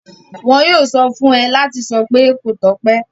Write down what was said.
Wọn yóò sọ fún ẹ láti sọ pé 'kó tọ́pẹ́'.